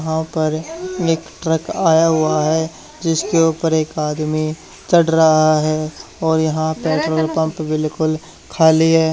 यहां पर एक ट्रक आया हुआ है जिसके ऊपर एक आदमी चढ़ रहा है और यहां पेट्रोल पंप बिल्कुल खाली है।